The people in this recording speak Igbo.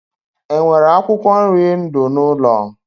E nwere akwụkwọ nri ndụ n'ụlọ?